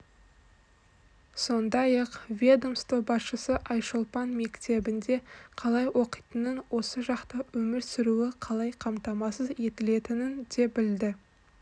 сондай-ақ ведомство басшысы айшолпан мектебінде қалай оқитынын осы жақта өмір сүруі қалай қамтамасыз етілетінін де білді